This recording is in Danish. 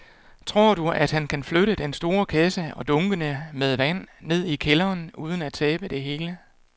Tror du, at han kan flytte den store kasse og dunkene med vand ned i kælderen uden at tabe det hele?